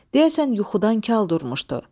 Deyəsən yuxudan kal durmuşdu.